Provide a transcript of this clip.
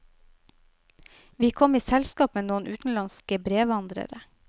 Vi kom i selskap med noen utenlandske brevandrere.